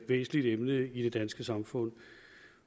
væsentligt emne i det danske samfund